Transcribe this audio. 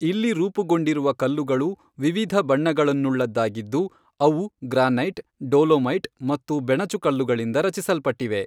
ಇಲ್ಲಿ ರೂಪುಗೊಂಡಿರುವ ಕಲ್ಲುಗಳು ವಿವಿಧ ಬಣ್ಣಗಳನ್ನುಳ್ಳದ್ದಾಗಿದ್ದು, ಅವು ಗ್ರಾನೈಟ್, ಡೊಲೊಮೈಟ್ ಮತ್ತು ಬೆಣಚುಕಲ್ಲುಗಳಿಂದ ರಚಿಸಲ್ಪಟ್ಟಿವೆ.